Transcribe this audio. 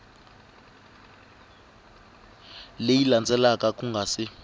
leyi landzelaka ku nga si